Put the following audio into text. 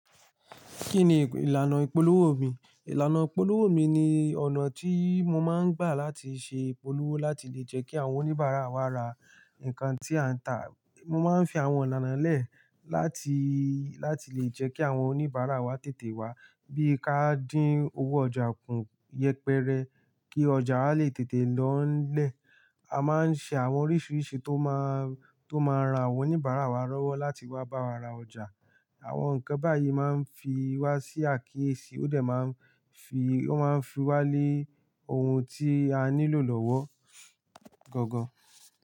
Kí ni ìlànà ìpolówó mi? Ìlànà ìpolówó mi ni ọ̀nà tí mo máa ń gbà láti ṣe ìpolówó láti lè jẹ́ kí àwọn oníbàárà wa ra nǹkan tí à ń tà. Mo máa ń fi àwọn ìlànà lẹ̀ láti, láti lè jẹ́ kí àwọn oníbàárà wa tètè wá. Bí kà dín owó ọjà kún yẹpẹrẹ kí ọjà a lè tètè lọ́ńlẹ̀, a máa ń ṣe àwọn oríṣiríṣi tó máa, tó máa ra àwọn oníbàárà wa lówó láti wá bá wa ra ọjà. Àwọn nǹkan báyìí máa ń fi wá sí àkíyèsí, ó de máa ń fi, ó máa ń fi wá lé ohun tí a nílò lọ́wọ́ gangan.